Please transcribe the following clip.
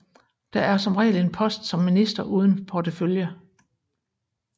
Der er som regel en post som minister uden portefølje